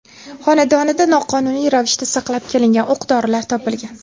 xonadonida noqonuniy ravishda saqlab kelingan o‘q dorilar topilgan.